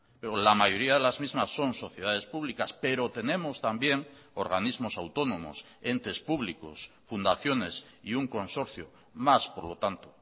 pero la mayoría de las mismas son sociedades públicas pero tenemos también organismos autónomos entes públicos fundaciones y un consorcio más por lo tanto